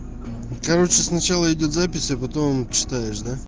короче сначала идёт запись а потом читаешь да